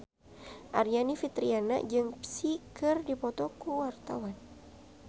Aryani Fitriana jeung Psy keur dipoto ku wartawan